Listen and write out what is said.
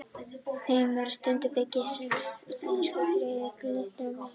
Þeim er sundrað í byggingareiningar sínar, sem sagt einsykrur, fitusýrur og glýseról og amínósýrur.